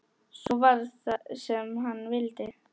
Svo varð sem hann vildi.